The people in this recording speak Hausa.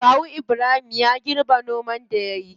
Kawu ibrahim ya girbe noman da yayi.